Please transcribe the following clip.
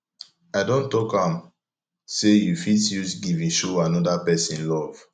i don tok am sey you fit use giving show anoda pesin love